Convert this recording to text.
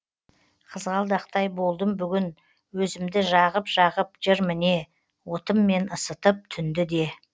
қызғалдақтай болдым бүгін өзімді жағып жағып жыр міне отыммен ысытып түнді де